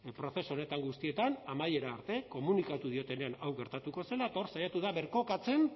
prozesu honetan guztietan amaiera arte komunikatu diotenean hau gertatuko zela eta hor saiatu da birkokatzen